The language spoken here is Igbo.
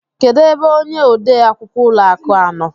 Kedu ebe ónyé ode akwukwọ ụlọ akụ a nọ?